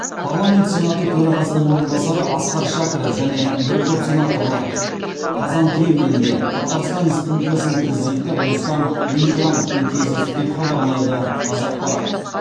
парламент сенаты төрағасының орынбасары асқар шәкіров және бір топ сенаторлар қазан кремлінде татарстан республикасының президенті рустам миннихановпен кездесті деп хабарлайды қазақпарат